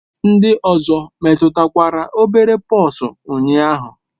Ndị ọzọ metụtakwara obere pox ụnyaahụ?